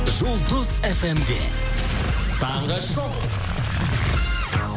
жұлдыз эф эм де таңғы шоу